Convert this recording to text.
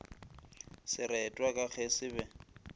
seretwa ka ge se be